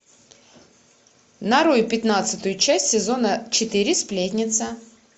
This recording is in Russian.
нарой пятнадцатую часть сезона четыре сплетница